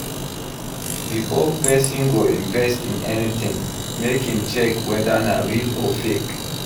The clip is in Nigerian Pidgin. Before persin go invest in anything make im check whether na real or fake